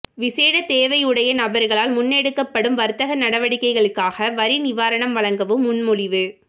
விசேட தேவையுடைய நபர்களால் முன்னெடுக்கப்படும் வர்த்தக நடவடிக்கைகளுக்காக வரி நிவாரணம் வழங்கவும் முன்மொழிவு